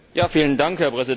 Herr Präsident!